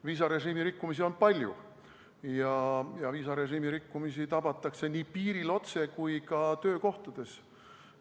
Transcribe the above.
Viisarežiimi rikkumisi on palju ja viisarežiimi rikkujaid tabatakse nii piiril otse kui ka töökohtades.